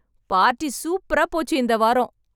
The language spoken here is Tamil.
பார்ட்டி சூப்பரா போச்சு இந்த வாரம்